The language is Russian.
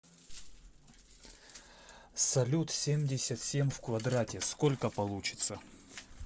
салют семьдесят семь в квадрате сколько получится